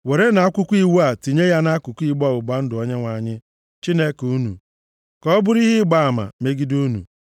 “Werenụ Akwụkwọ Iwu a tinye ya nʼakụkụ igbe ọgbụgba ndụ Onyenwe anyị Chineke unu, ka ọ bụrụ ihe ịgba ama megide unu.